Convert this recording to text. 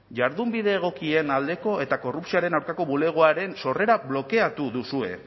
jardunbide egokien aldeko eta korrupzioaren aurkako bulegoaren sorrera blokeatu duzue